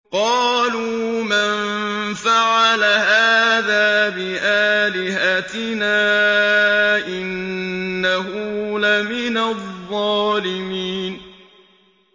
قَالُوا مَن فَعَلَ هَٰذَا بِآلِهَتِنَا إِنَّهُ لَمِنَ الظَّالِمِينَ